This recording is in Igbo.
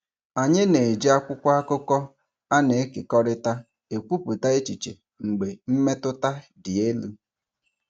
Anyị na-eji akwụkwọ akụkọ a na-ekekọrịta ekwupụta echiche mgbe mmetụta dị elu.